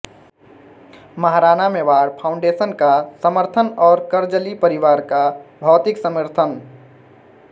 Maharana Mewar foundation का समर्थन और करजली परिवार का भौतिक समर्थन